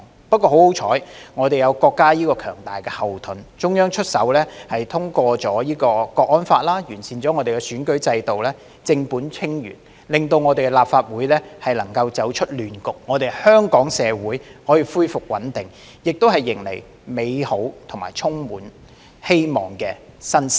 不過，幸好我們有國家這個強大後盾，中央出手通過《香港國安法》和完善選舉制度，正本清源，令我們立法會能夠走出亂局，香港社會可以恢復穩定，亦迎來美好和充滿希望的新時代。